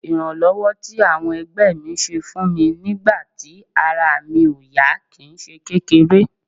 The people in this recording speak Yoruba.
Ìrànlọ́wọ́ tí àwọn ẹgbẹ́ mi ṣe fún mi nígbà tí ara mi ò yá kì í ṣe kékeré